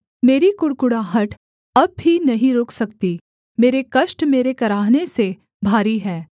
मेरी कुढ़कुढ़ाहट अब भी नहीं रुक सकती मेरे कष्ट मेरे कराहने से भारी है